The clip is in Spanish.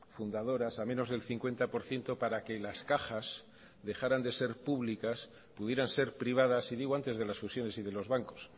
fundadoras a menos del cincuenta por ciento para que las cajas dejaran de ser públicas pudieran ser privadas y digo antes de las fusiones y de los bancos